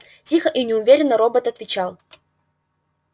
тихо и неуверенно робот отвечал